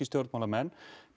stjórnmálamenn